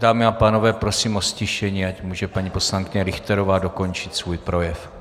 Dámy a pánové, prosím o ztišení, ať může paní poslankyně Richterová dokončit svůj projev.